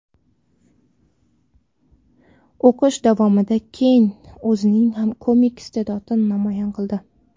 O‘qish davomida Ken o‘zining komik iste’dodini namoyon qildi.